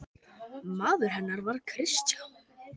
Maður hennar var Kristján